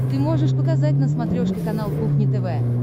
ты можешь показать на смотрешке канал кухня тв